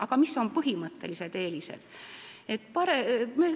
Aga mis on põhimõttelised eelised?